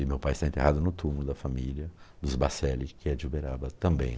E meu pai está enterrado no túmulo da família dos Baccelli, que é de Uberaba também.